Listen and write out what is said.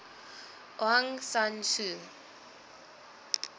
aung san suu